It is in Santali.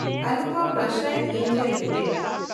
Anupam Rasayan India limited